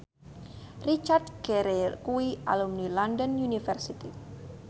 Richard Gere kuwi alumni London University